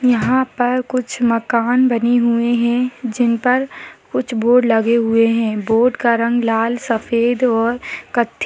यहाँ पर कुछ मकान बनी हुए हैं जिन पर कुछ बोर्ड लगे हुए हैं बोर्ड का रंग लाल सेद और कथ्थई --